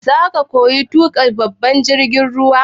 Zaka koyi tuƙa babban jirgin ruwa?